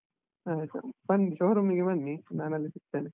ಆಯ್ತು ಬನ್ನಿ showroom ಗೆ ಬನ್ನಿ, ನಾನ್ ಅಲ್ಲಿ ಸಿಗ್ತೆನೆ.